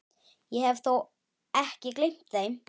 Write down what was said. Ég hef þó ekki gleymt þeim!